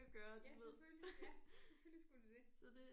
Ja selvfølgelig ja selvfølgelig skulle det det